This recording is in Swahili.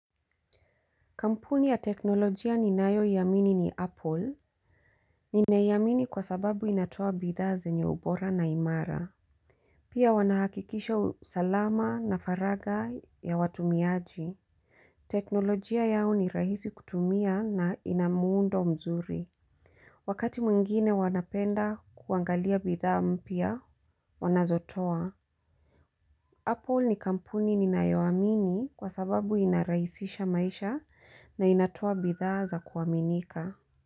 Kampuni ya teknolojia ninayoiamini ni Apple. Ninaiamini kwa sababu inatoa bidhaa zenye ubora na imara. Pia wanahakikisha usalama na faragha ya watumiaji. Teknolojia yao ni rahisi kutumia na ina muundo mzuri. Wakati mwingine wanapenda kuangalia bidhaa mpya wanazotoa. Apple ni kampuni ninayoamini kwa sababu inarahisisha maisha na inatoa bidhaa za kuaminika.